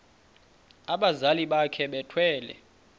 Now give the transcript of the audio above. abazali bakhe bethwele